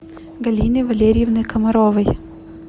галины валерьевны комаровой